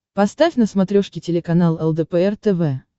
поставь на смотрешке телеканал лдпр тв